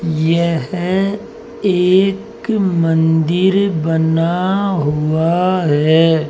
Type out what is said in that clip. यह एक मंदिर बना हुआ है।